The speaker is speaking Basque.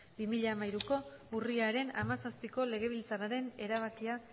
bi mila hamairuko urriaren hamazazpiko legebiltzarraren erabakia